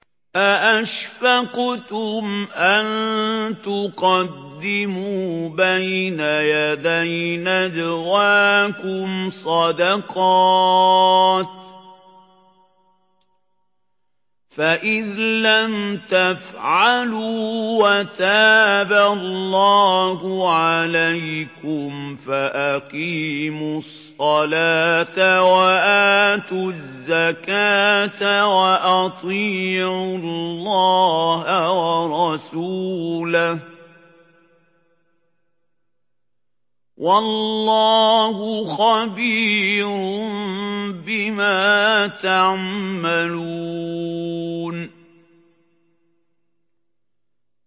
أَأَشْفَقْتُمْ أَن تُقَدِّمُوا بَيْنَ يَدَيْ نَجْوَاكُمْ صَدَقَاتٍ ۚ فَإِذْ لَمْ تَفْعَلُوا وَتَابَ اللَّهُ عَلَيْكُمْ فَأَقِيمُوا الصَّلَاةَ وَآتُوا الزَّكَاةَ وَأَطِيعُوا اللَّهَ وَرَسُولَهُ ۚ وَاللَّهُ خَبِيرٌ بِمَا تَعْمَلُونَ